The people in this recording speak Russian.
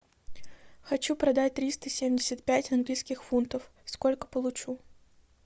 хочу продать триста семьдесят пять английских фунтов сколько получу